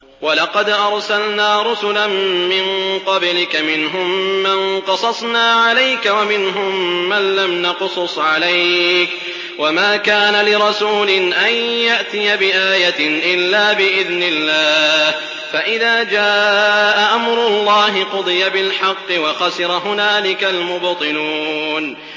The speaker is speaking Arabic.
وَلَقَدْ أَرْسَلْنَا رُسُلًا مِّن قَبْلِكَ مِنْهُم مَّن قَصَصْنَا عَلَيْكَ وَمِنْهُم مَّن لَّمْ نَقْصُصْ عَلَيْكَ ۗ وَمَا كَانَ لِرَسُولٍ أَن يَأْتِيَ بِآيَةٍ إِلَّا بِإِذْنِ اللَّهِ ۚ فَإِذَا جَاءَ أَمْرُ اللَّهِ قُضِيَ بِالْحَقِّ وَخَسِرَ هُنَالِكَ الْمُبْطِلُونَ